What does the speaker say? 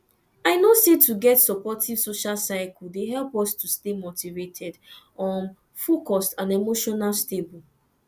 i know say to get supportive social circle dey help us to stay motivated um focused and emotional stable